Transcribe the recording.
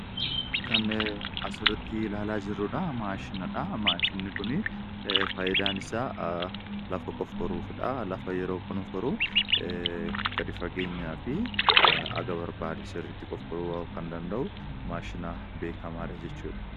Kan asirratti ilaalaa jirru maashinadha. Maashinni kuni fayidaan isaa lafa qofforuufidha. Lafa yeroo qonfforru, gadi fageenyaafi haga barbaade sirriitti qofforuu kan danda'u maashina beekkamaadha jechuudha.